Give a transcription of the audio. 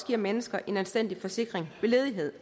giver mennesker en anstændig forsikring ved ledighed